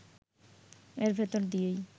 এর ভেতর দিয়েই